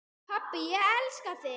Pabbi, ég elska þig.